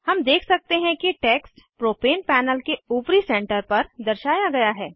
हम देख सकते हैं कि टेक्स्ट प्रोपेन पैनल के ऊपरी सेंटर पर दर्शाया गया है